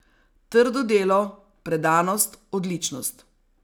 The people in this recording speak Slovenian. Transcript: Trdo delo, predanost, odličnost.